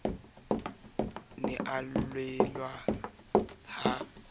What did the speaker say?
ne a llelang ha a